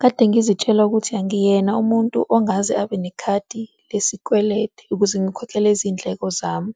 Kade ngizitshela ukuthi angiyena umuntu ongaze abe nekhadi lesikweletu ukuze ngikhokhele izindleko zami,